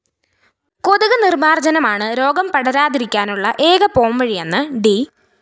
കൊതുക് നിര്‍മാര്‍ജനമാണ് രോഗം പടരാതിരിക്കാനുള്ള എക പോംവഴിയെന്ന് ഡി